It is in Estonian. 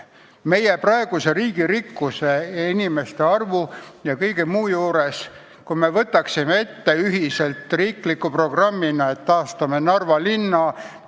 Meie praeguse riigi rikkuse, elanike arvu ja kõige muu juures, kui me võtaksime ette riikliku programmina, et taastame Narva linna!